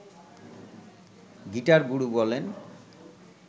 গিটার-গুরু বলেন